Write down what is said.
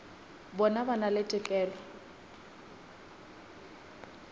bona ba na le tokelo